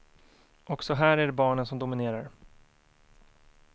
Också här är det barnen som dominerar.